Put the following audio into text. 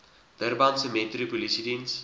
durbanse metro polisiediens